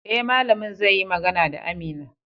Eh, malamin zai yi magana da Amina